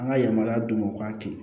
An ka yamaruya d'u ma u k'a kɛ